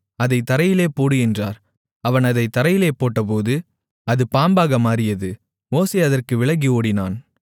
அதைத் தரையிலே போடு என்றார் அவன் அதைத் தரையிலே போட்டபோது அது பாம்பாக மாறியது மோசே அதற்கு விலகி ஓடினான்